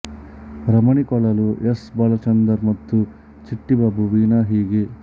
ರಮಣಿ ಕೊಳಲು ಎಸ್ ಬಾಲಚಂದರ್ ಮತ್ತು ಚಿಟ್ಟಿ ಬಾಬು ವೀಣಾ ಹೀಗೆ